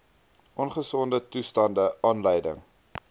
ongesonde toestande aanleiding